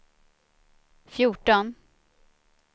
fjorton